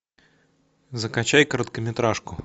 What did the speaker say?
закачай короткометражку